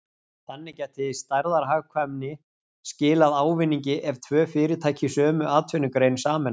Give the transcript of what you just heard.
Þannig gæti stærðarhagkvæmni skilað ávinningi ef tvö fyrirtæki í sömu atvinnugrein sameinast.